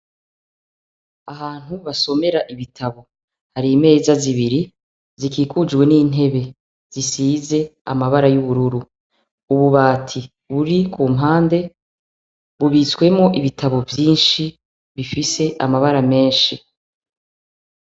Ahantu basomera ibitabo, hari imeza zibiri zikikujwe n'intebe zisize amabara y'ubururu. Ububati buri ku mpande bubitswemwo ibitabo vyinshi bifise amabara menshi.